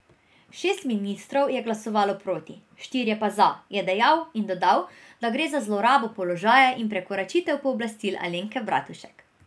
Šest ministrov je glasovalo proti, štirje pa za, je dejal in dodal, da gre za zlorabo položaja in prekoračitev pooblastil Alenke Bratušek.